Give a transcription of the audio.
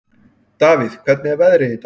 Davíð, hvernig er veðrið í dag?